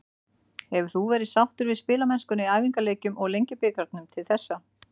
Hefur þú verið sáttur við spilamennskuna í æfingaleikjum og Lengjubikarnum til þessa?